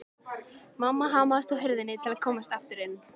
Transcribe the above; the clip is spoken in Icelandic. Mamma hamaðist á hurðinni til að komast aftur inn.